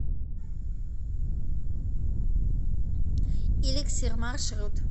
эликсир маршрут